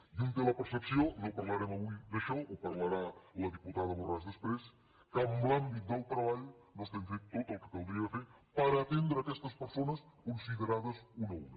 i un té la percepció no parlarem avui d’això ho parlarà la diputada borràs després que en l’àmbit del treball no estem fent tot el que caldria fer per atendre aquestes persones considerades una a una